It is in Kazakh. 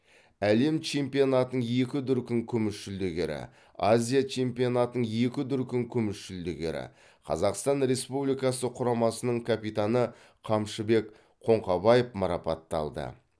әлем чемпионатының екі дүркін күміс жүлдегері азия чемпионатының екі дүркін күміс жүлдегері қазақстан республикасы құрамасының капитаны қамшыбек қоңқабаев марапатталды